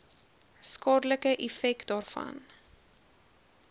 skadelike effek daarvan